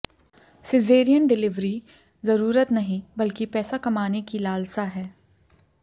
caesarean delivery जरूरत नहीं बल्कि पैसा कमाने की लालसा है